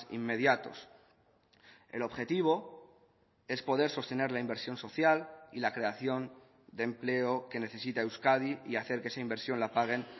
inmediatos el objetivo es poder sostener la inversión social y la creación de empleo que necesita euskadi y hacer que esa inversión la paguen